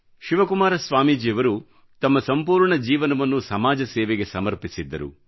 ಶಿವಕುಮಾರ ಸ್ವಾಮೀಜಿಯವರು ತಮ್ಮ ಸಂಪೂರ್ಣ ಜೀವನವನ್ನು ಸಮಾಜ ಸೇವೆಗೆ ಸಮರ್ಪಿಸಿದ್ದರು